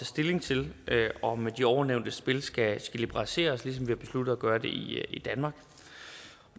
stilling til om de ovennævnte spil skal liberaliseres ligesom vi har besluttet at gøre det i danmark